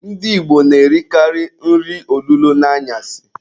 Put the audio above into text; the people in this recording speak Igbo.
Ndị Igbo na-erikalị nri olulo n'anyasị.